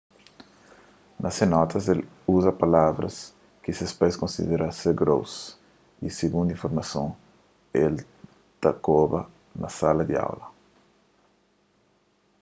na se notas el uza palavras ki se pais konsidera ser gross y sigundu informasons el ta koba na sala di aula